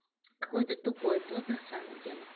какой ты тупой бот на самом деле